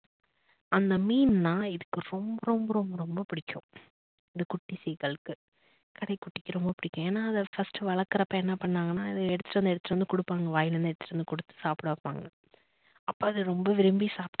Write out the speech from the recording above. அந்த மீனுனா இதுக்கு ரொம்ப ரொம்ப ரொம்ப ரொம்ப பிடிக்கும் இந்த குட்டி seegal க்கு கடைக்குட்டிக்கு ரொம்ப பிடிக்கும் ஏன்னா அத first ட்டு வளக்குறப்போ என்ன பண்ணாங்கன்னா அதை எடுத்துட்டு வந்து எடுத்துட்டு வந்து குடுப்பாங்க வாயிலிருந்து எடுத்துட்டு வந்து குடுத்து சாப்பிட வைப்பாங்க அப்ப அது ரொம்ப விரும்பி சாப்பிடும்.